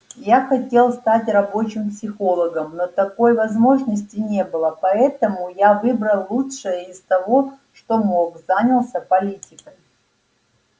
я хотел стать рабочим психологом но такой возможности не было поэтому я выбрал лучшее из того что мог занялся политикой